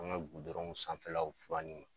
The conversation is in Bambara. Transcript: An ka gudɔrɔnw sanfɛlaw fali